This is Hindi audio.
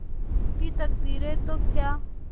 रूठी तकदीरें तो क्या